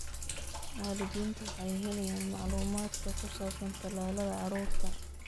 Waalidiintu waxay helayaan macluumaadka ku saabsan tallaalada carruurta.